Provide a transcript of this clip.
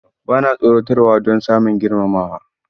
Ba na tsoratarwa don samun girmamawa.